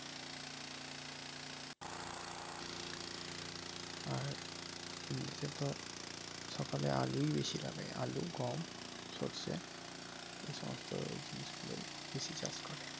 আর এমনিতে তো সকলে আলুই বেশি লাগাই আলু গম সরষে এই সমস্ত জিনিস গুলোই বেশি চাষ করে।